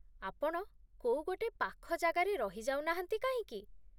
ଆପଣ କୋଉ ଗୋଟେ ପାଖ ଜାଗାରେ ରହି ଯାଉନାହାନ୍ତି କାହିଁକି?